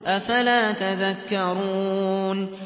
أَفَلَا تَذَكَّرُونَ